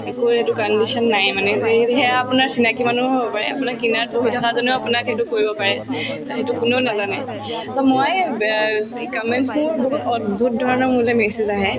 সেইটো condition নাইয়ে মানে যে সেয়া আপোনাৰ চিনাকি মানুহো হব পাৰে আপোনাৰ কিনাৰত বহি থকা জনেও আপোনাক সেইটো কৰিব পাৰে অ সেইটো কোনেও নেজানে so মই ব কি comments বোৰ বহুত অদ্ভূত ধৰণৰ মোলৈ message আহে